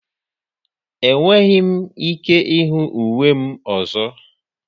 Enweghị m ike ịhụ uwe m ọzọ.